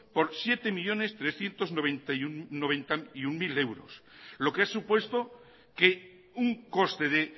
por siete millónes trescientos noventa y uno mil euros lo que ha supuesto un coste de